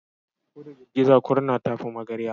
Ko da girgiza kurna ta fi magarya.